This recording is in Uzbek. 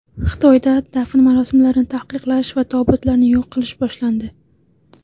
Xitoyda dafn marosimlarini taqiqlash va tobutlarni yo‘q qilish boshlandi.